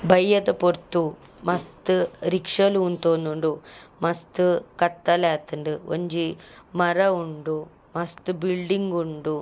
ಬಯ್ಯದ ಪೊರ್ತು ಮಸ್ತ್ ರಿಕ್ಷ ಲು ಉಂತೊಂದುಂಡು ಮಸ್ತ್ ಕತ್ತಲೆ ಆತುಂಡು ಒಂಜಿ ಮರ ಉಂಡು ಮಸ್ತ್ ಬಿಲ್ಡಿಂಗ್ ಉಂಡು.